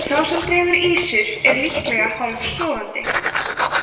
sá sem dregur ýsur er líka hálfsofandi